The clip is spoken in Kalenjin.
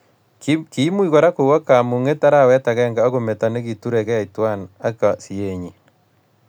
Kiimuch Kora kowo kamunget arawet agenge akometo nekiturekei tuwai ak sienyi